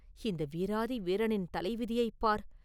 இந்த வீராதி வீரரின் தலைவிதியைப் பார்!